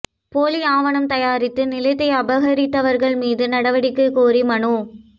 போலி ஆவணம் தயாரித்து நிலத்தை அபகரித்தவா்கள் மீது நடவடிக்கை கோரி மனு